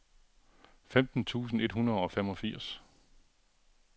femten tusind et hundrede og femogfirs